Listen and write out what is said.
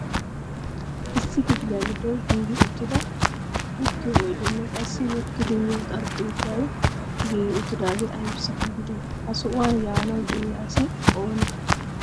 Issi kifiliya giddon giigi uttida uttiyo oydenne qassi wottidi miyo xarphpheezay giigi uttidaage aybbissi giigide? Ha sohuwan yaanaw de'iyaa asi ooni?